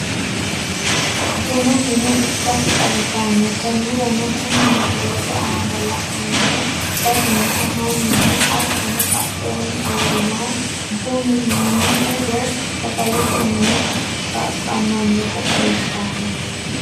Bunu mine ikkasi xawisanno, koniranno kuni misilete aana la'neemohu sasunku maninna hatonno badheenni uurinohu bunu mie woyi sagalete mine saqamanotta xawisanno